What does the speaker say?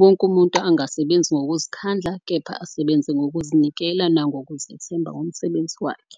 Wonke umuntu angasebenzi ngokuzikhandla kepha asebenze ngokuzinikela nangokuzethemba ngomsebenzi wakhe.